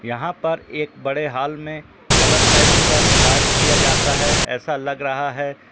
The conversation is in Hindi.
यहाँ पर एक बड़े हाल में कलर पेंट का कार्य किया जाता है ऐसा लग रहा है।